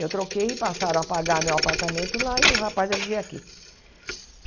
Eu troquei e passaram a pagar meu apartamento lá e o rapaz ia viver aqui.